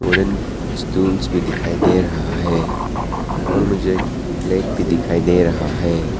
Orange stools भी दिखाई दे रहा है और मुझे एक फ्लैग भी दिखाई दे रहा है।